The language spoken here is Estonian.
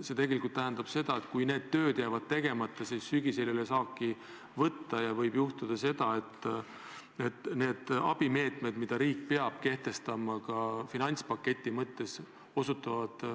See tegelikult tähendab muret, et kui need tööd jäävad tegemata, siis sügisel ei ole saaki võtta ja võib juhtuda see, et need abimeetmed, mida riik peab rakendama ka finantspaketi mõttes, osutuvad